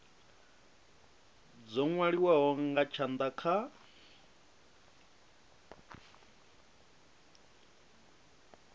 dzo nwaliwaho nga tshanda kha